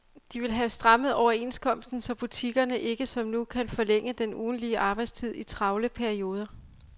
De vil have strammet overenskomsten, så butikkerne ikke som nu kan forlænge den ugentlige arbejdstid i travle perioder.